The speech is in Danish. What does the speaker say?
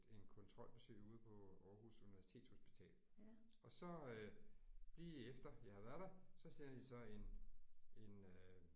En kontrolbesøg ude på Aarhus Universitetshospital. Og så øh lige efter jeg har været der så sender de så en en øh